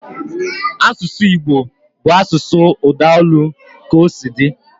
Asụsụ Igbo bụ asụsụ udaolu ka osi di